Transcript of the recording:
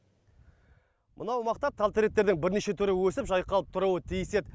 мынау бақта тал теректердің бірнеше түрі өсіп жайқалып тұруы тиіс еді